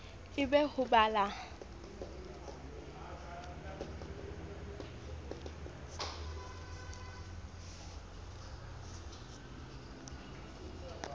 e be ho ba la